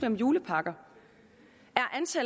om julepakker